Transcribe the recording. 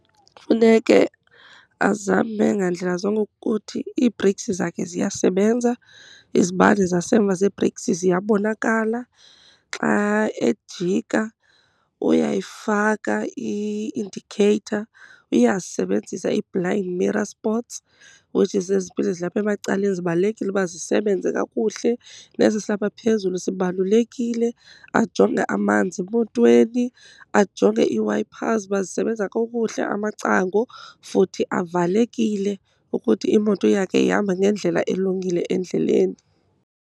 Funeke azame ngandlela zonke ukuthi ii-brakes zakhe ziyasebenza, izibane zasemva zee-brakes ziyabonakala. Xa ejika uyayifaka i-indicator, uyazisebenzisa ii-blind mirror spots, ukuthi zezi zipili zilapha emacaleni zibalulekile uba zisebenze kakuhle, nesi silapha phezulu sibalulekile. Ajonge amanzi emotweni, ajonge ii-wipers uba zisebenza kukuhle, amacango futhi avalekile ukuthi imoto yakhe ihamba ngendlela elungileyo endleleni.